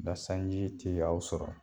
Ola sanji ti aw sɔrɔ